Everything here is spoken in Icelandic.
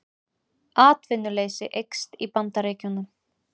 Atvinnuleysi eykst í Bandaríkjunum